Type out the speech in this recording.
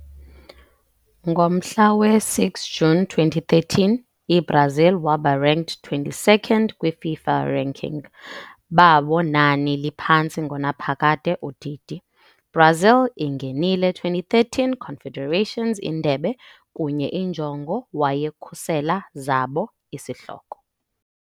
Ngomhla we-6 juni 2013, i-Brazil waba ranked 22nd kwi-FIFA ranking, babo nani liphantsi-ngonaphakade udidi. - Brazil ingenile 2013 Confederations Indebe kunye injongo wayekhusela zabo isihloko.